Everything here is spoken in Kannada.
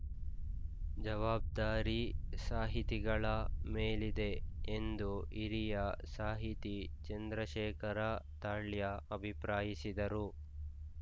ಜವಾಬ್ಧಾರಿ ಸಾಹಿತಿಗಳ ಮೇಲಿದೆ ಎಂದು ಹಿರಿಯ ಸಾಹಿತಿ ಚಂದ್ರಶೇಖರ ತಾಳ್ಯ ಅಭಿಪ್ರಾಯಿಸಿದರು